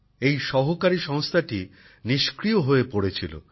এই সহকারী সংস্থাটি নিষ্ক্রিয় হয়ে পরে ছিল